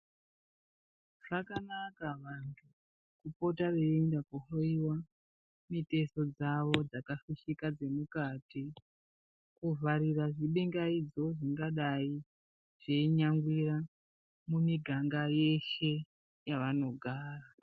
Zvakanaka vanthu kupota veienda koohloyiwa mitezo dzavo dzakafishika dzemukati kuvharira zvibingaidzo zvingadai zveinyangwira mumiganga yeshe yavanogara.